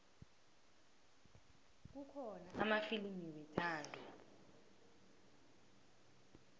kukhona amafilimu wethando